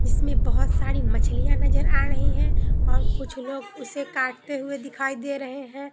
इसमें बहोत सारी मछलियां नजर आ रही है और कुछ लोग उसे काटते हुए दिखाई दे रहे हैं।